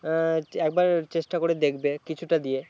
উম একবার চেষ্টা করে দেখবে কিছুটা দিয়ে